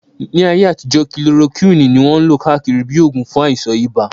Ní ayé àtijọ́, kilorokíwìn ní wọ́n lò káàkiri bíi oògùn fún àìsàn ibà